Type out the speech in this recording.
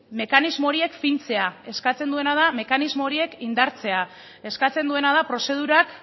mekanismo horiek fintzea eskatzen duena da mekanismo horiek indartzea eskatzen duena da prozedurak